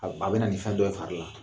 A bɛ na nin fɛn dɔ ye fari ye